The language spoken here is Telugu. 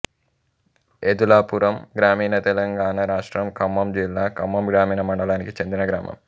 ఏదులాపురం గ్రామీణంతెలంగాణ రాష్ట్రం ఖమ్మం జిల్లా ఖమ్మం గ్రామీణ మండలానికి చెందిన గ్రామం